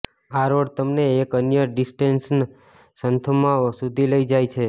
આ રોડ તમને એક અન્ય ડેસ્ટિનેશન સંથોમ સુધી લઇ જાય છે